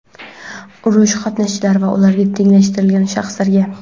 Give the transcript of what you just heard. urush qatnashchilari va ularga tenglashtirilgan shaxslarga;.